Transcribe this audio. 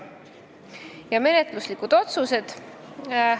Nüüd menetluslikud otsused.